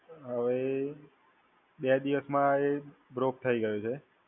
હવે બે દિવસમાં એ broke થઈ ગયો છે.